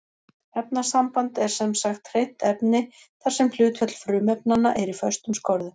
Efnasamband er sem sagt hreint efni þar sem hlutföll frumefnanna er í föstum skorðum.